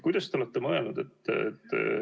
Kuidas te olete mõelnud?